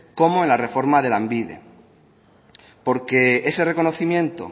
como en la reforma de lanbide porque ese reconocimiento